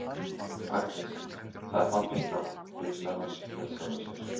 Agnes, það er fallegt nafn, hugsar hann með sjálfum sér.